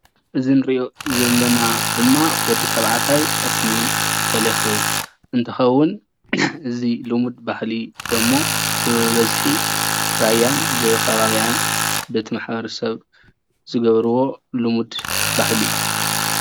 እዚ እንሪኦ ዘለና ድማ ወዲ ተባዕታይ ጠስሚ ተለክዩ እንትከውን እዚ ልሙድ ባህሊ ደሞ ብበዝሒ ራያን ብከባቢኣን በቲ ማሕበረሰብ ዝገበርዎ ልሙድ ባህሊ እዩ፡፡